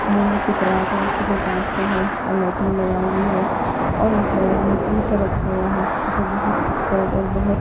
यहां एक राग हैजो कांच का हैऔर लाइटिंग लगाई हुई हैऔर इस राग में ईत रखा हुआ हैजो बहुत खूबसूरत और बहुत--